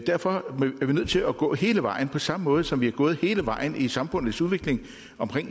derfor er vi nødt til at gå hele vejen på samme måde som vi er gået hele vejen i samfundets udvikling